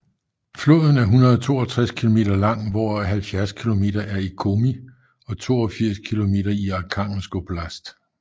Floden er 152 kilometer lang hvoraf 70 kilometer er i Komi og 82 kilometer i Arkhangelsk oblast